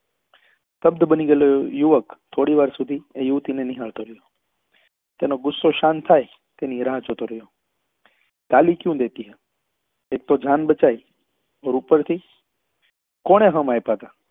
સ્તબ્ધ બની ગયેલો એ યુવક થોડી વાર સુધી એ યુવતી ને નિહાળતો રહ્યો તેનો ગુસ્સો શાંત થાય તેની રાહ જોતો રહ્યો ગાલી કયું દેતી હો એક તો જાન બચાઈ અને ઉપર થી કોને હમ આપ્યા હતા તારા રસ્તે